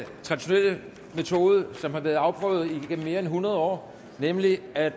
traditionelle måde som har været afprøvet igennem mere end hundrede år nemlig ved at